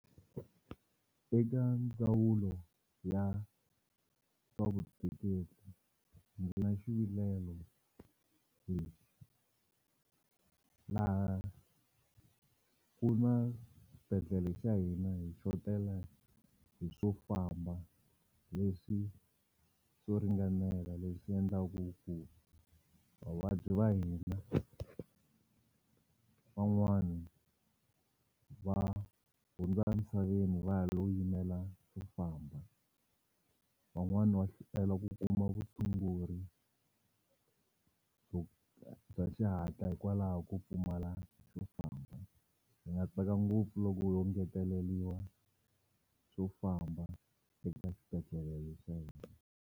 Eka ndzawulo ya swa Vutleketli ndzi na xivilelo laha ku na xibedhlele xa hina hi xotela hi swo famba leswi swo ringanela leswi endlaku ku vavabyi va hina van'wani va hundza amisaveni va ha lo yimela swo famba van'wani va hlwela ku kuma vutshunguri bya xihatla hikwalaho ko pfumala xo famba hi nga tsaka ngopfu loko yo ngeteleliwa swo famba eka xibedhlele le xa hina.